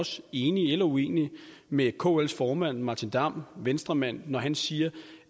så enig eller uenig med kls formand martin damm venstremand når han siger